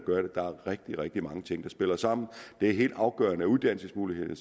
gør det der er rigtig rigtig mange ting der spiller sammen det er helt afgørende at uddannelsesmulighederne